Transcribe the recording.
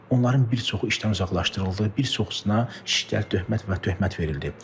Onların bir çoxu işdən uzaqlaşdırıldı, bir çoxusuna şiddətli töhmət və töhmət verildi.